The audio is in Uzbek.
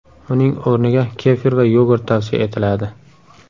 Uning o‘rniga kefir va yogurt tavsiya etiladi.